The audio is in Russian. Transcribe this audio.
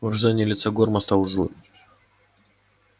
выражение лица горма стало злым